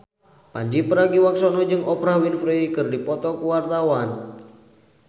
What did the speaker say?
Pandji Pragiwaksono jeung Oprah Winfrey keur dipoto ku wartawan